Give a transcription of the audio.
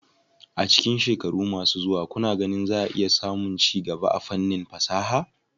A cikin shekaru masu zuwa, kuna ganin za a samu ci gaba a fannin fasaha?